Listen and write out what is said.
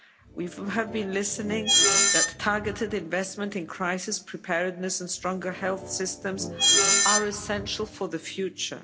We have been listening that targeted investment in crisis preparedness and stronger health systems are essential for the future.